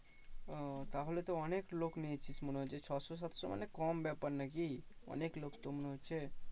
ও তাহলে তো অনেক লোক নিয়েছিস মনে হচ্ছে ছশো সাতশো মানে কম ব্যাপার নাকি? অনেক লোক তো মনে হচ্ছে।